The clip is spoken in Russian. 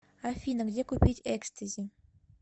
афина где купить экстази